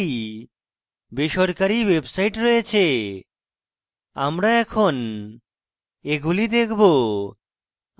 আমরা এখন এগুলি দেখবো